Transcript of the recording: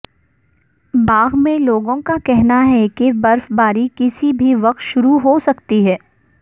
باغ میں لوگوں کا کہنا ہے کہ برفباری کسی بھی وقت شروع ہو سکتی ہے